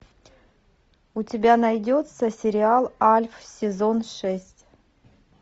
у тебя найдется сериал альф сезон шесть